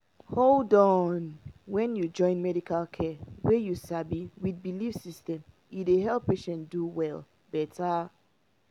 hold on — when you join medical care wey you sabi with belief system e dey help patient do well better.